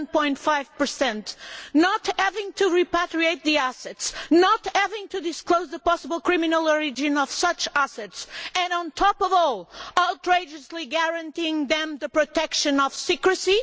7.5 and not having to repatriate the assets, not having to disclose the possible criminal origin of such assets and, on top of all, outrageously guaranteeing them the protection of secrecy?